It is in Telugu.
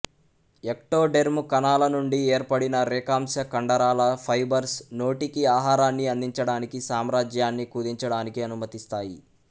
ఎక్టోడెర్మ్ కణాల నుండి ఏర్పడిన రేఖాంశ కండరాల ఫైబర్స్ నోటికి ఆహారాన్ని అందించడానికి సామ్రాజ్యాన్ని కుదించడానికి అనుమతిస్తాయి